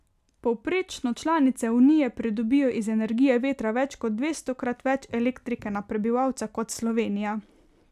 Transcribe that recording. Povprečno članice Unije pridobijo iz energije vetra več ko dvestokrat več elektrike na prebivalca kot Slovenija.